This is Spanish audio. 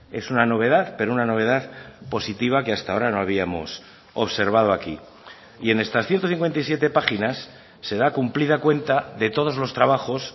es una novedad pero una novedad positiva que hasta ahora no habíamos observado aquí y en estas ciento cincuenta y siete páginas se da cumplida cuenta de todos los trabajos